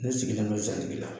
Ne sigilen bɛ zantigila